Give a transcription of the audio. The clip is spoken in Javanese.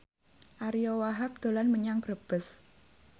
Ariyo Wahab dolan menyang Brebes